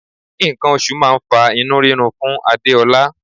Nǹkan oṣù máà ń fa inú rírun fún Adéọlá.